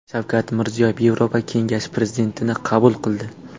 Shavkat Mirziyoyev Yevropa kengashi prezidentini qabul qildi.